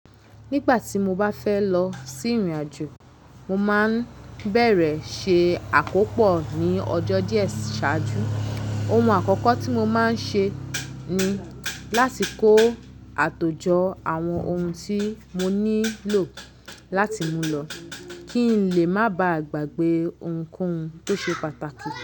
Nígbà tí mo bá fẹ́ lọ sí ìrìn-àjò, mo máa bẹ̀rẹ̀ ṣe àkópọ̀ ní ọjọ́ díẹ̀ ṣáájú. Ohun àkọ́kọ́ tí mo máa ń ṣe ni láti kó àtòjọ àwọn ohun tí mo nílò láti mú lọ kí n lè má ba à gbàgbé ohunkóhun tó ṣe pàtàkì.